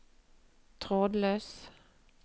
trådløs